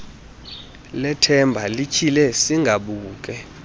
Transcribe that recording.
lethemba lityhile sigabuke